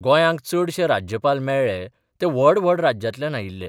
गोंयांक चडशे राज्यपाल मेळ्ळे ते व्हड व्हड राज्यांतल्यान आयिल्ले.